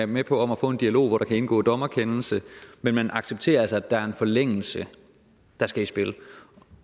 med på at få en dialog hvori der kan indgå dommerkendelse men man accepterer altså at der er en forlængelse der skal i spil